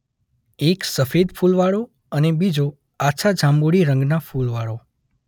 એક સફેદ ફૂલ વાળો અને બીજો આછા જાંબુડી રંગનાં ફૂલ વાળો.